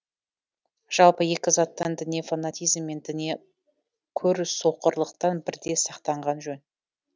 жалпы екі заттан діни фанатизм мен діни көрсоқырлықтан бірдей сақтанған жөн